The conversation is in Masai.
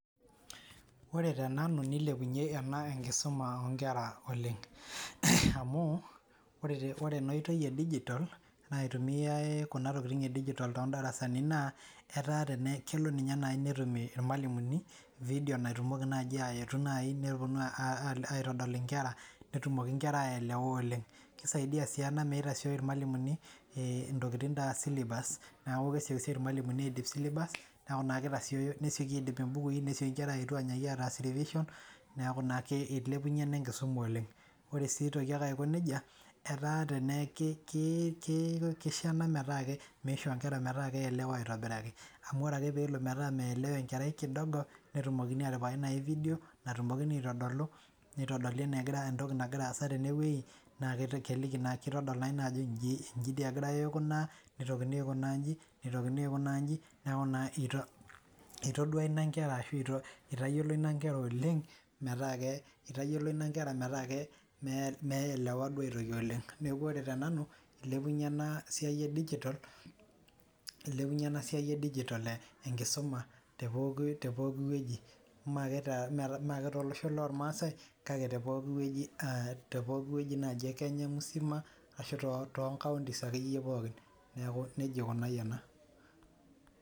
ore tenanu neilepunye ena enkisuma oo nkera oleng' amuu ore ena oitoi ee digital naitumiai kuna tokitin ee digital too ndarasani naa etaa tenee kelo ninye nayi netumie irmalimuni video naita nayiii neponu aitodol inkera netumoki inkera aelewa oleng' keisaidia sii ena meitasioi irmalimuni ntokitin aa syllabus neeku kesioki sioki irmalimuni aidip syllabus neeku naa keitasieyo neseki aidip ibukui nesieki inkera ainyaaki aetu ataas revision neeku naa ake eilepunye ena enkisuma oleng' oree sii eitoki ake aiko nejia etaa teneaku keisho enaa metaa meishoo inkera metaa keielewa aitobiraki amu ore ake peelo metaa meelewa enkerai kidogo netumoki atipikaki nayii video natumokini aitodolu neitodoli enegira aasa tene wei naa keliki keitodol naa ajo iji dii egiray aikunaa neitokini aikunaaa inji neitokini aikunaa unji nekuu naa etadua ina inkera ashuu eitayiolo ina inkera oleng' metaa eitayiolo ina inkera meelewa duoo aitoki oleng' neeku ore te nanu eilepunye ena siai ee digital enkisuma tee pooki weji mee ake tolosho loormaasai kake tee pooki weji naji ee kenya musima ashuu toonkauntis ake iye pookin neeku nejia eikunayie ena .